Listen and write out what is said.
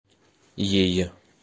ей